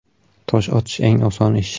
Tosh otish eng oson ish.